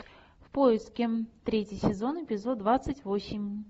в поиске третий сезон эпизод двадцать восемь